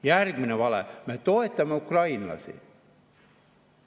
Järgmine vale: me toetame ukrainlasi.